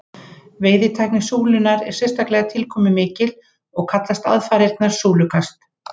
Veiðitækni súlunnar er sérstaklega tilkomumikil og kallast aðfarirnar súlukast.